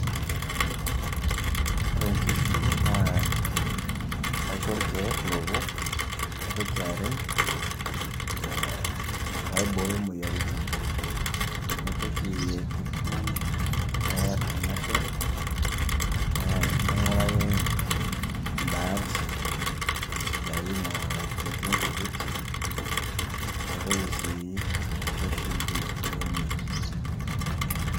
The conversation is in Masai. Ore nkishu naa kaisho irkeek lowok, naitoki arem ee paiboyo moyiaritin, naitoki aituku peeear irmanyer, naing'uraki ndaat sidain naa netii nkujit, naitoki sii aisho shumbi pee emej.